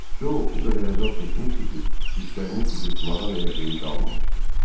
Co o qədər əzab çəkmişdi ki, dişlərini qıcırtmağa belə hey qalmammışdı.